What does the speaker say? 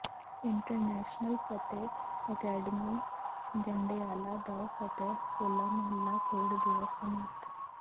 international Fateh academy Jandiala ਦਾ ਫਤਿਹ ਹੋਲਾ ਮਹੱਲਾ ਖੇਡ ਦਿਵਸ ਸਮਾਪਤ